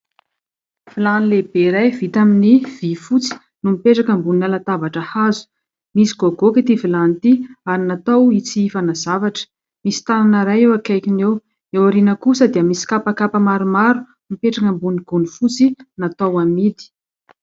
Vilany lehibe iray vita amin'ny vy fotsy no mipetraka ambonina latabatra hazo. Misy goakagoaka ity vilany ity ary natao itsihifana zavatra, misy tanana iray eo akaikiny eo. Eo aoriana kosa dia misy kapa maromaro mipetraka ambony gony fotsy natao amidy.